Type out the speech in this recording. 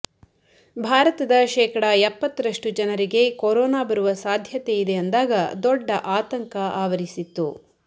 ಭಾರತದ ಶೇಕಡಾ ಎಪ್ಪತ್ತರಷ್ಟು ಜನರಿಗೆ ಕೊರೋನಾ ಬರುವ ಸಾಧ್ಯತೆ ಇದೆ ಅಂದಾಗ ದೊಡ್ಡ ಆತಂಕ ಆವರಿಸಿತ್ತು